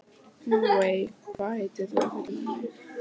Móey, hvað heitir þú fullu nafni?